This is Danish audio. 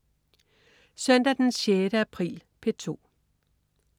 Søndag den 6. april - P2: